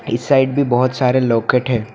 इस साइड भी बहुत सारे लॉकेट हैं।